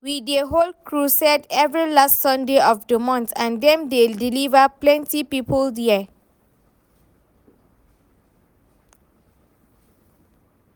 We dey hold crusade every last sunday of the month and dem dey deliver plenty people there